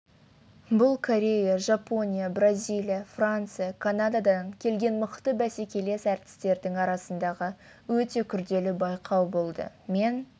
бұл корея жапония бразилия франция канададан келген мықты бәсекелес әртістердің арасындағы өте күрделі байқау болды мен